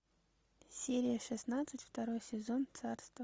серия шестнадцать второй сезон царство